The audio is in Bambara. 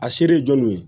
A se de ye jɔnniw ye